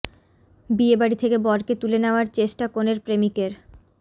বিয়ে বাড়ি থেকে বরকে তুলে নেওয়ার চেষ্টা কনের প্রেমিকের